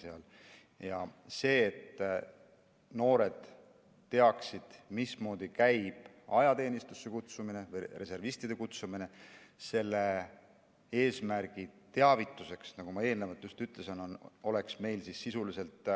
Selle jaoks, et noored teaksid, mismoodi käib ajateenistusse kutsumine, reservistide kutsumine, selle eesmärgi jaoks, nagu ma eelnevalt ütlesin, oleks meil sisuliselt